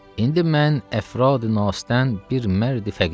İndi mən əfradi nasdən bir mərd-i fəqirəm.